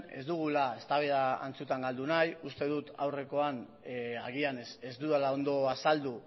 ez dugula eztabaida antzutan galdu nahi uste dut aurrekoan agian ez dudala ondo azaldu